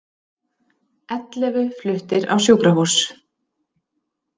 Ellefu fluttir á sjúkrahús